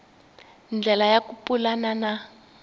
ndlela ya ku pulana na